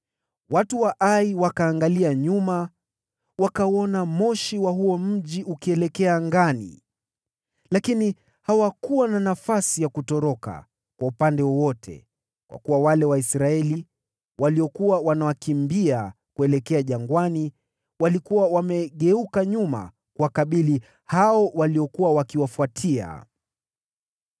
Watu wa Ai wakaangalia nyuma, wakauona moshi wa huo mji ukielekea angani lakini hawakuwa na nafasi ya kutoroka kwa upande wowote, kwa kuwa wale Waisraeli waliokuwa wanawakimbia kuelekea jangwani walikuwa wamegeuka nyuma kuwakabili wakimbizaji wao.